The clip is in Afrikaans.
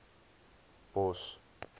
bos